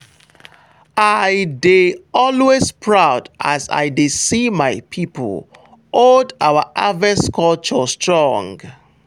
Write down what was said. i dey always proud as i dey see my people hold our harvest culture strong.